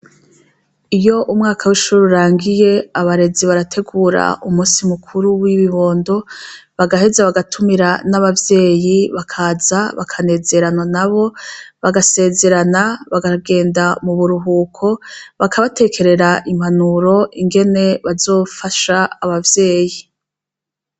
Iyo umwaka w'ishure urangiye abarezi barategura umunsi mukuru w'ibibondo, bagaheza bagatumira n'abavyeyi bakaza bakanezeranwa nabo bagasezerana bakagenda muburuhuko bakabatekerera impanuro ingene bazofasha abavyeyi